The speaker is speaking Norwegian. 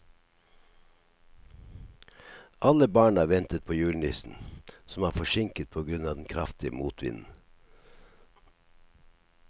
Alle barna ventet på julenissen, som var forsinket på grunn av den kraftige motvinden.